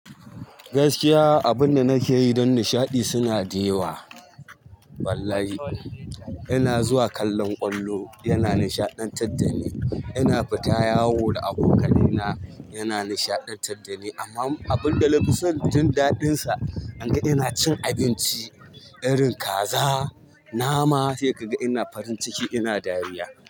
Gaskiya abunda nake yi don nishaɗi suna da yawa. Wallahi. Ina zuwa kallon ƙwallo yana nishaɗantar da ni, ina fita yawo da abokanaina yana nishaɗantar da ni amma abunda na fi son jin daɗinsa, inga ina cin abinci irin kaza, nama sai ka ga ina farin ciki ina dariya.